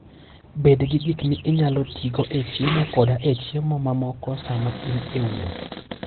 Bed gi gik minyalo tigo e chiemo koda e chiemo mamoko sama in e wuoth.